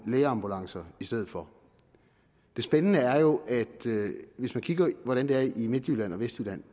lægeambulancer i stedet for det spændende er jo at hvis man kigger på hvordan det er i midtjylland og vestjylland